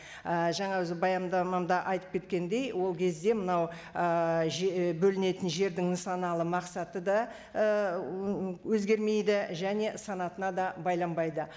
ііі жаңағы баяндамамда айтып кеткендей ол кезде мынау ііі бөлінетін жердің нысаналы мақсаты да ііі өзгермейді және санатына да байланбайды